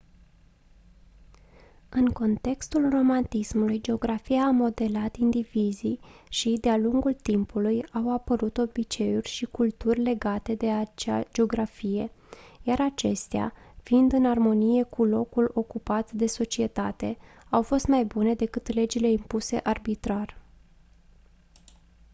în contextul romantismului geografia a modelat indivizii și de-a lungul timpului au apărut obiceiuri și culturi legate de acea geografie iar acestea fiind în armonie cu locul ocupat de societate au fost mai bune decât legile impuse arbitrar